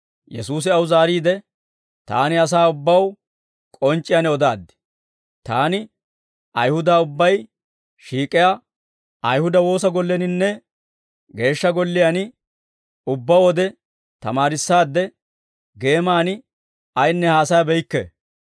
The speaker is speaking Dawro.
Yesuusi aw zaariide, «Taani asaa ubbaw k'onc'c'iyaan odaaddi. Taani Ayihuda ubbay shiik'iyaa Ayihuda woosa golleninne Geeshsha Golliyaan ubbaa wode tamaarissaad; geeman ayinne haasayabeykke.